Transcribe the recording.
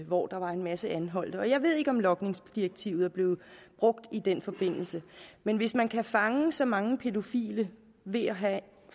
hvor der var en masse anholdte jeg ved ikke om logningsdirektivet er blevet brugt i den forbindelse men hvis man kan fange så mange pædofile ved at have